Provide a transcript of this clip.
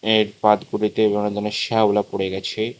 এর পাথগুলিতে অনেক দরনের শেওলা পড়ে গেছে।